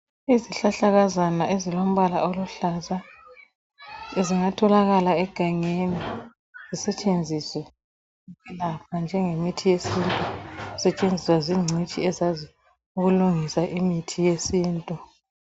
Izihlahlakazana ezilombala oluhlaza zingatholakala egangeni, zisetshenziswe la njengemithi yesintu. Zisetshenziswa zingcitshi ezazi ukulungisa imithi yesintu.